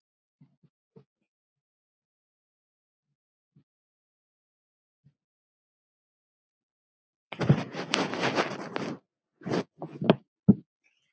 Sindri: Ekki?